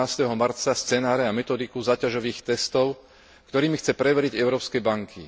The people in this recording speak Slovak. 18. marca scenáre a metodiku záťažových testov, ktorými chce preveriť európske banky.